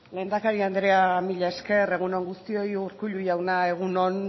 lehendakari andrea mila esker egun on guztioi urkullu jauna egun on